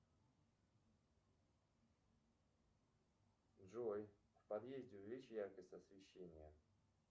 джой в подъезде увеличь яркость освещения